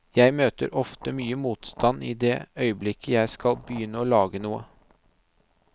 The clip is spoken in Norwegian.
Jeg møter ofte mye motstand i det øyeblikket jeg skal begynne å lage noe.